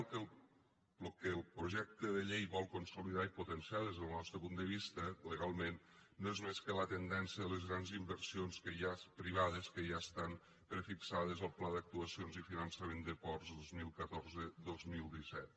lo que el projecte de llei vol consolidar i potenciar des del nostre punt de vista legalment no és més que la tendència de les grans inversions que hi ha privades que ja estan prefixades al pla d’actuacions i finançament de ports dos mil catorze dos mil disset